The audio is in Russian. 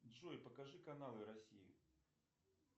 джой покажи каналы россии